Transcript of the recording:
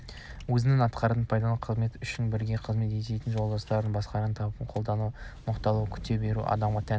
өзінің атқарған пайдалы қызметі үшін бірге қызмет істейтін жолдастары мен бастықтары тарапынан қолдау мақұлдау күту әрбір адамға тән